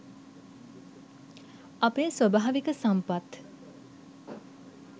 අපේ ස්වභාවික සම්පත්